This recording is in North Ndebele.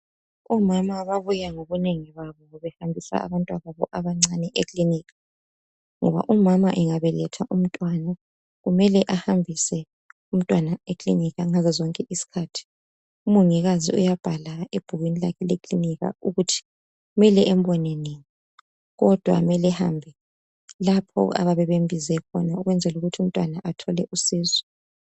omama ababuya ngokunengi babo bebehambisa abantwababo abancane e kilinika ngoba umama engabeletha umntwana kumele ahambise umntwana ekilinika ngazo zonke izikhathi umongikazi uyabahala ebhukwini lakhe leklinika ukuthi kumele embone nini kodwa kumele ehambe lapho ababe bembize khona ukwenzela ukuthi umntwana athole usizo